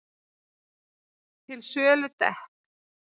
Til sölu dekk